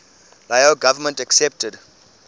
lao government accepted